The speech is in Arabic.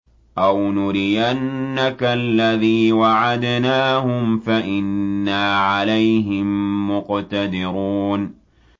أَوْ نُرِيَنَّكَ الَّذِي وَعَدْنَاهُمْ فَإِنَّا عَلَيْهِم مُّقْتَدِرُونَ